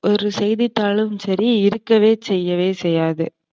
ஒரு செய்தித்தாளும் சரி இருக்கவே செய்யவே செய்யாது.